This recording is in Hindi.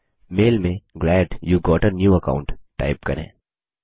मेल में glad you got a new account type करें